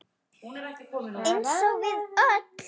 Eins og við öll.